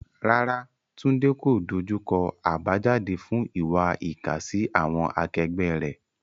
Rárá, Tunde kò dojú kọ àbájáde fún ìwà ìkà sí àwọn akẹgbẹ́ rẹ̀.